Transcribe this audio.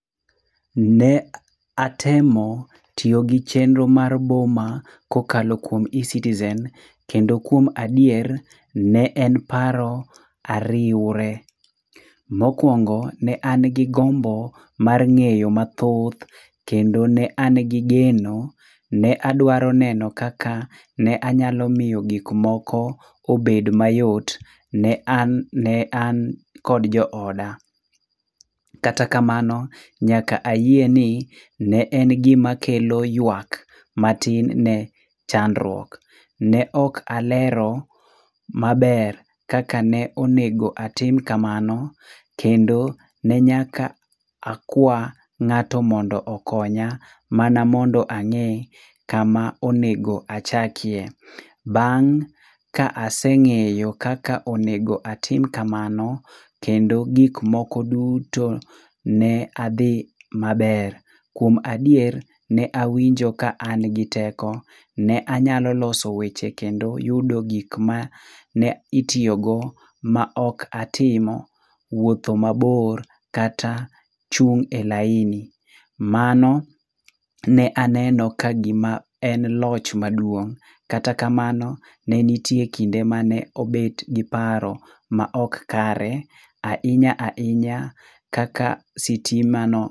Ne atemo tiyo gi chenro mar Boma kokalo kuon Ecitizen kendo kuom adier, ne en paro ariwre. Mokuongo, ne an gi gombo mar ng'eyo mathoth kendo ne an gi geno, ne adwaro neno kaka ne anyalo miyo gik moko obed mayot ne an, ne an kod jo oda. Kata kamano, nyaka ayie ni ne en gima kelo ywak matin ne chandruok. Ne ok alero maber kaka ne onego atim kamano, kendo ne nyaka akwaa ng'ato mondo okonya mana mondo ang'ee kama onego achakie. Bang' ka aseng'eyo kaka onego atim kamano kendo gik moko duto, ne adhi maber. Kuom adier, ne awinjo ka an gi teko. Ne anyalo loso weche kendo yudo gik mane itiyogo ma ok atimo wuotho mabor, kata chung' e laini. Mano ne aneno ka gima en loch maduong'. Kata kamano, ne nitie kinde mane obet gi paro ma ok kare. Ahinya ahinya kaka sitima no.